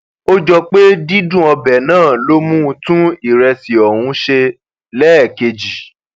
ó jọ pé dídùn ọbẹ náà ló mú un tún ìrẹsì ọhún ṣe lẹẹkejì